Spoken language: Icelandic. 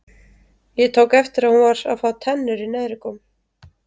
Ég tók eftir að hún var að fá tennur í neðri góm.